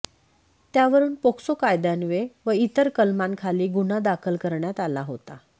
त्यावरून पोक्सो कायद्यान्वये व इतर कलमांखाली गुन्हा दाखल करण्यात आला होता